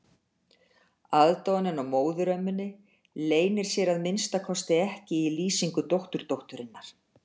Aðdáunin á móðurömmunni leynir sér að minnsta kosti ekki í lýsingu dótturdótturinnar.